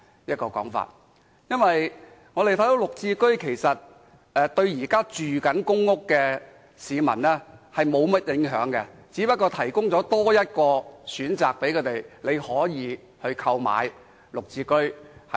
事實上，綠置居對於現時的公屋居民無甚影響，不過是多提供一個選擇，讓他們可以購買綠置居。